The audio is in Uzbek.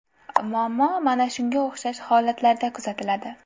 Muammo mana shunga o‘xshash holatlarda kuzatiladi.